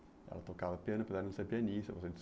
Ela tocava piano, apesar de não ser pianista você disse.